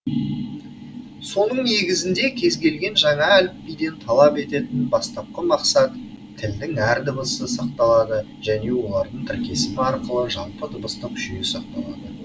соның негізінде кез келген жаңа әліпбиден талап ететін ең бастапқы мақсат тілдің әр дыбысы сақталады және олардың тіркесімі арқылы жалпы дыбыстық жүйе сақталады